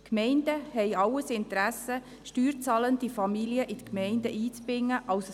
Die Gemeinden haben alles Interesse daran, als Standortpolitik steuerzahlende Familien in die Gemeinden einzubinden.